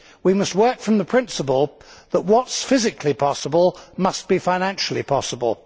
We must work from the principle that what is physically possible must be financially possible.